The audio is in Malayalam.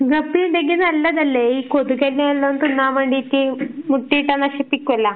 ഗപ്പി ഉണ്ടെങ്കിൽ നല്ലതല്ലേ? ഈ കൊതുകിനെ എല്ലാം തിന്നാൻ വേണ്ടീട്ട് മുട്ട ഇട്ടാ നശിപ്പിക്കുവല്ലോ.